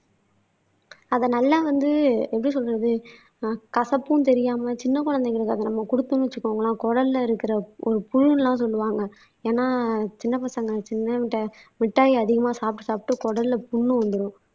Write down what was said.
அத நல்லா வந்து எப்படி சொல்றது ஆஹ் கசப்பும் தெரியாம சின்ன குழந்தைகளுக்கு அத நம்ம குடுத்தோம்னு வச்சிக்கோங்களேன் குடல்ல இருக்கிற ஒரு புழுன்னு எல்லாம் சொல்லுவாங்க ஏன்னா சின்ன பசங்க மிட்டாய் மிட்டாய் அதிகமா சாப்பிட்டு சாப்பிட்டு குடல்ல புண்ணு வந்துரும்.